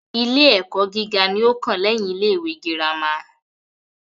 Ilé ẹ́kọ́ gíga ní o kàn lẹ́yin ilé ìwé gírámà.